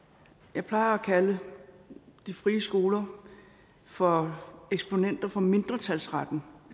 jeg plejer at kalde de frie skoler for eksponenter for mindretalsretten